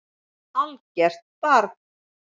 Algert barn.